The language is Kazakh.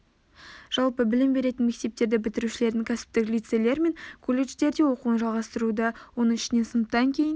жалпы білім беретін мектептерді бітірушілердің кәсіптік лицейлер мен колледждерде оқуын жалғастыруда оның ішінде сыныптан кейін